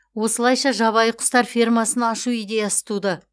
осылайша жабайы құстар фермасын ашу идеясы туды